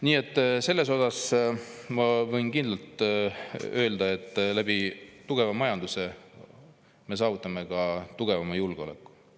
Nii et ma võin kindlalt öelda, et tugeva majanduse abil me saavutame ka tugevama julgeoleku.